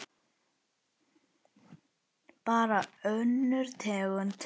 Bara önnur tegund.